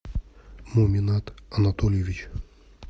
муминат анатольевич